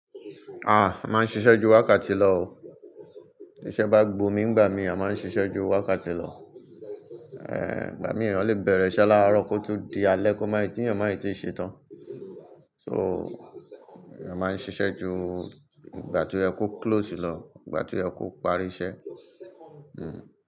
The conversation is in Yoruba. Ah! A máa ń ṣiṣẹ́ ju wákàtí lọ o. Tisẹ́ bá gbo mi ń gbà mí, a máa ń ṣiṣẹ́ ju wákàtí lọ. Eh! Ìgbà mìíràn eeyan le bẹ̀rẹ̀ iṣẹ́ láàárọ̀ kó tó di alẹ́ kó máì tí ènìyàn máì ti ṣetán. So, a máa ń ṣiṣẹ́ ju ìgbà tí o ye ko close lọ, ìgbà tí oyẹ ko parí iṣẹ́. Hmm.